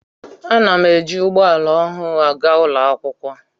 A na m eji ugbo ala oha agaa ụlọ akwụkwọ